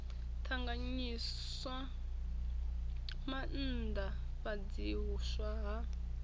ṱanganyiswa na u maanḓafhadziswa ha